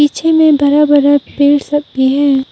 पीछे में भरा भरा पेड़ सब भी है।